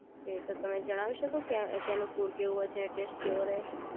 okay તો તમે જણાવી શકો કે ત્યાંનું ફૂડ કેવું હોય છે ટેસ્ટ કેવો રહે છે